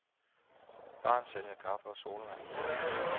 Baren sælger kaffe og sodavand.